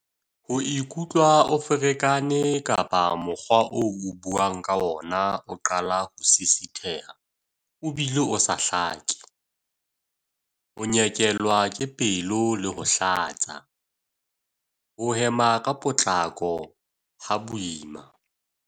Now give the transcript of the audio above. Ho ikutlwa o ferekane kapa mokgwa oo o buang ka ona o qala ho sisitheha o bile o sa hlake. Ho nyekelwa ke pelo le ho hlatsa. Ho hema ka potlako, ha boima.